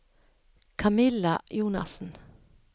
Camilla Jonassen